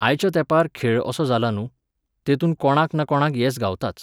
आयच्या तेंपार खेळ असो जाला न्हूं, तेतूंत कोणाक ना कोणाक येस गावताच.